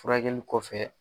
Furakɛlli kɔfɛ